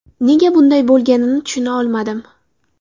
Nega bunday bo‘lganini tushuna olmadim.